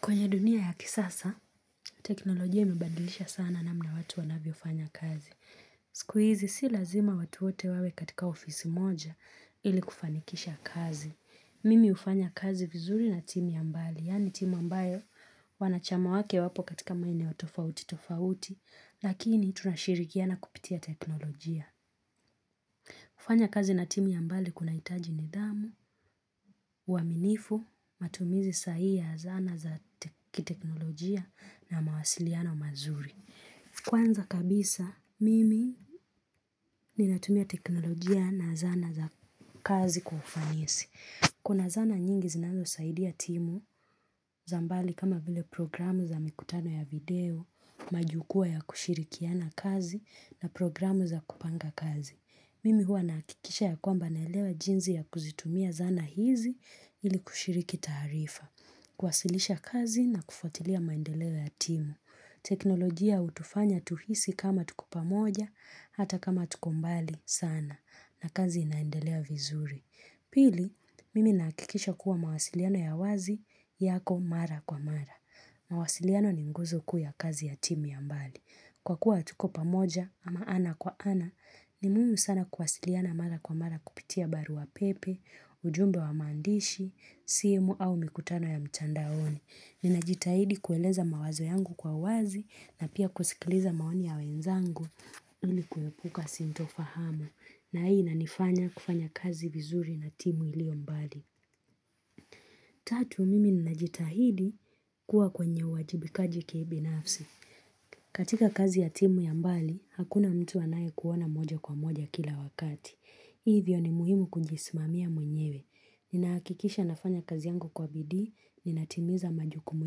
Kwenye dunia ya kisasa, teknolojia imebandilisha sana namna watu wanavyo fanya kazi. Skuizi si lazima watu wote wawe katika ofisi moja ili kufanikisha kazi. Mimi hufanya kazi vizuri na timu ya mbali, yani timu ambayo wanachama wake wapo katika maeneo wa tofauti tofauti, lakini tunashirikiana kupitia teknolojia. Kufanya kazi na timu ya mbali kunahitaji nidhamu, uaminifu, matumizi sahihi ya zana za kiteknolojia na mawasiliano mazuri. Kwanza kabisa, mimi ninatumia teknolojia na zana za kazi kufanisi. Kuna zana nyingi zinazo saidia timu za mbali kama vile programu za mikutano ya video, majukwaa ya kushirikiana kazi na programu za kupanga kazi. Mimi huwa nahakikisha ya kwamba naelewa jinzi ya kuzitumia zana hizi ili kushiriki taarifa. Kuwasilisha kazi na kufuatilia maendeleo ya timu. Teknolojia hutufanya tuhisi kama tuko pamoja hata kama tuko mbali sana na kazi inaendelea vizuri. Pili, mimi nahakikisha kuwa mawasiliano ya wazi yako mara kwa mara. Mawasiliano ni nguzo kuu ya kazi ya timu ya mbali. Kwa kuwa hatuko pamoja ama ana kwa ana, ni muhimu sana kuwasiliana mara kwa mara kupitia barua pepe, ujumbe wa maandishi, simu au mikutano ya mtandaoni. Ninajitahidi kueleza mawazo yangu kwa wazi na pia kusikiliza maoni ya wenzangu ilikuepuka sintofahamu na hii inanifanya kufanya kazi vizuri na timu ilio mbali. Tatu mimi ninajitahidi kuwa kwenye uwajibikaji kibinafsi. Katika kazi ya timu ya mbali, hakuna mtu anaye kuona moja kwa moja kila wakati. Hivyo ni muhimu kunjismamia mwenyewe. Ninahakikisha nafanya kazi yangu kwa bidii, ninatimiza majukumu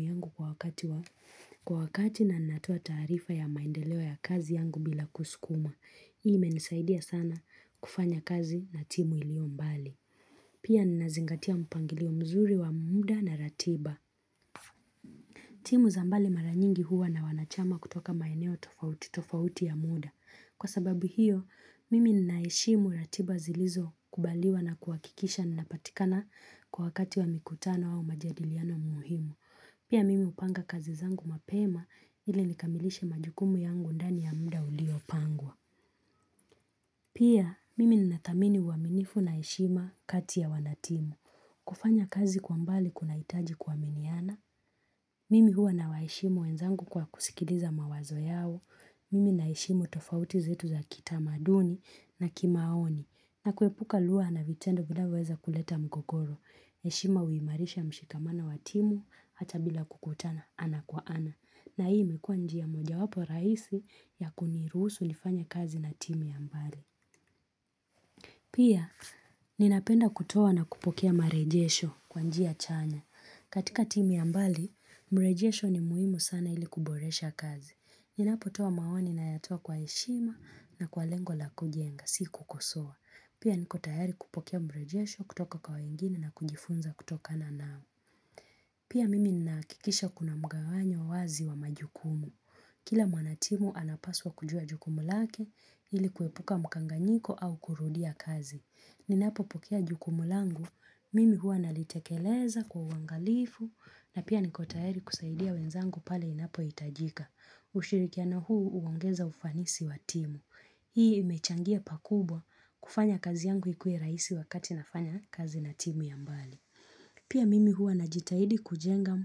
yangu kwa wakati na natoa taarifa ya maendeleo ya kazi yangu bila kusukumwa. Hii imenisaidia sana kufanya kazi na timu ilio mbali. Pia ninazingatia mpangilio mzuri wa muda na ratiba. Timu za mbali mara nyingi huwa na wanachama kutoka maeneo tofauti tofauti ya muda. Kwa sababu hiyo, mimi ninaheshimu ratiba zilizo kubaliwa na kuhakikisha ninapatikana kwa wakati wa mikutano au majadiliano muhimu. Pia mimi hupanga kazi zangu mapema ili nikamilishe majukumu yangu ndani ya mda ulio pangwa. Pia, mimi nina thamini uaminifu na heshima kati ya wanatimu. Kufanya kazi kwa mbali kunahitaji kuaminiana. Mimi hua nawaheshimu wenzangu kwa kusikiliza mawazo yao. Mimi naheshimu tofauti zetu za kitamaduni na kimaoni. Na kuepuka luwa na vitendo vinavoweza kuleta mgogoro. Heshima huimarisha mshikamana wa timu hata bila kukutana ana kwa ana. Na hii imekuwa njia moja wapo rahisi ya kuniruhusu nifanye kazi na timu ya mbali. Pia, ninapenda kutoa na kupokea marejesho kwa njia chanya. Katika timu ya mbali, mrejesho ni muhimu sana ili kuboresha kazi. Ninapotoa maoni nayatoa kwa heshima na kwa lengo la kujenga, si kukosoa. Pia, niko tayari kupokea mrejesho kutoka kwa wengine na kujifunza kutokana nao. Pia, mimi ninahakikisha kuna mgawanyo wazi wa majukumu. Kila mwanatimu anapaswa kujua jukumu lake ili kuepuka mkanganyiko au kurudia kazi. Ninapo pokea jukumu langu, mimi huwa nalitekeleza kwa uangalifu na pia niko tayari kusaidia wenzangu pale inapohitajika. Ushirikiano huu huongeza ufanisi wa timu. Hii imechangia pakubwa kufanya kazi yangu ikue rahisi wakati nafanya kazi na timu ya mbali. Pia mimi huwa najitahidi kujengam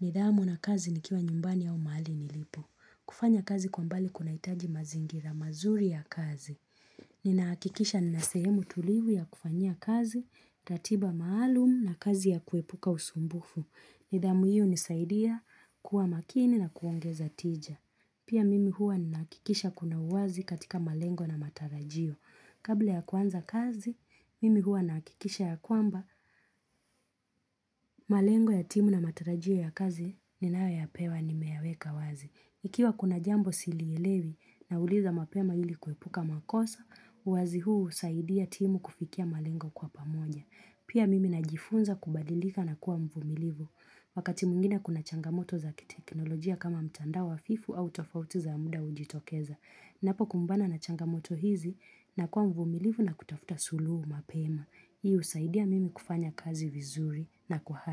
ni dhamu na kazi nikiwa nyumbani au mahali nilipo. Kufanya kazi kwa mbali kunahitaji mazingira mazuri ya kazi. Ninahakikisha nina sehemu tulivu ya kufanyia kazi, ratiba maalumu na kazi ya kuepuka usumbufu. Nidhamu hii hunisaidia kuwa makini na kuongeza tija. Pia mimi huwa ninahakikisha kuna uwazi katika malengo na matarajio. Kabla ya kuanza kazi, mimi huwa nahakikisha ya kwamba malengo ya timu na matarajio ya kazi ni nanayo pewa nimeyaweka wazi. Ikiwa kuna jambo silielewi nauliza mapema ili kuepuka makosa, uwazi huu husaidia timu kufikia malengo kwa pamoja. Pia mimi najifunza kubadilika na kuwa mvumilivu, wakati mwingine kuna changamoto zakiteknolojia kama mtandao hafifu au tofauti za muda hujitokeza. Ninapo kumbana na changamoto hizi nakuwa mvumilivu na kutafuta suluhu mapema. Hii husaidia mimi kufanya kazi vizuri na kwa hari.